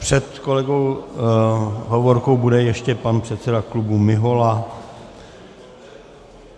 Před kolegou Hovorkou bude ještě pan předseda klubu Mihola.